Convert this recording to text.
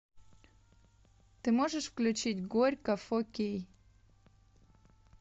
ты можешь включить горько фо кей